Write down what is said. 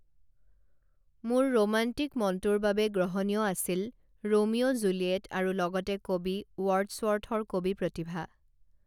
মোৰ ৰোমাণ্টিক মনটোৰ বাবে গ্ৰহণীয় আছিল ৰোমিঅ জুলিয়েট আৰু লগতে কবি ওৱৰ্ডচৱৰ্থৰ কবি প্ৰতিভা